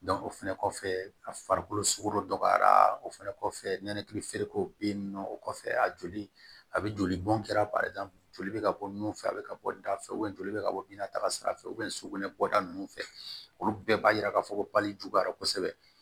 o fɛnɛ kɔfɛ a farikolo sugu dɔ dɔgɔyara o fɛnɛ kɔfɛ nɛnɛkili feereko be yen nɔ o kɔfɛ a joli a be jolibɔn kɛra joli bɛ ka bɔ nun fɛ a be ka bɔ da fɛ joli bɛ ka bɔ bin na taga sira fɛ sukunɛ bɔda ninnu fɛ olu bɛɛ b'a yira k'a fɔ ko bali juguyara kosɛbɛ